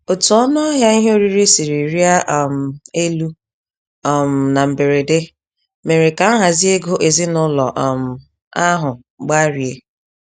Otú ọnụahịa ihe oriri siri rịa um elu um na mberede, mèrè ka nhazi ego ezinaụlọ um ahụ gbarie.